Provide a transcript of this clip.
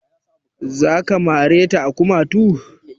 Za ka mare ta a kumatu?